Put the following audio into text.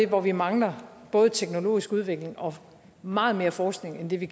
hvor vi mangler både teknologisk udvikling og meget mere forskning end det vi